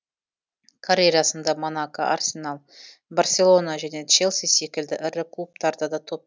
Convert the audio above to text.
карьерасында монако арсенал барселона және челси секілді ірі клубтарда доп